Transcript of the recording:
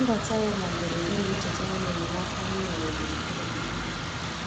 Mbata ya na mberede na-echetara m enyemaaka anyị nwere gburugburu anyị.